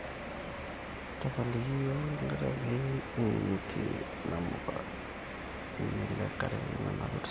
tapaliki iyiok tenkaraki eimutie namuka, einyele enkari nanapita